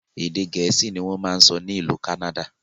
Èdè gẹ̀ẹ́sì ni wọn ń sọ n'ilu Kánádà